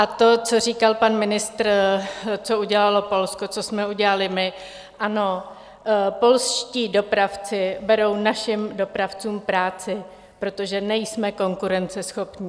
A to, co říkal pan ministr, co udělalo Polsko, co jsme udělali my - ano, polští dopravci berou našim dopravcům práci, protože nejsme konkurenceschopní.